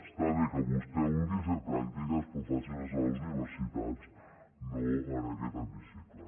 està bé que vostè vulgui fer pràctiques però faci les a les universitats no en aquest hemicicle